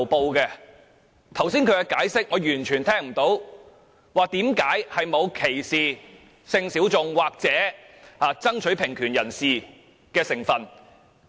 至於他剛才的解釋，我聽不到為何沒有歧視性小眾或爭取平權人士的成分。